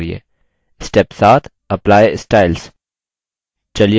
step 7 apply styles